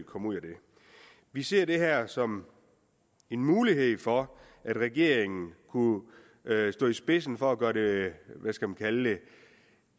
komme ud af det vi ser det her som en mulighed for at regeringen kunne stå i spidsen for at gøre det hvad skal man kalde det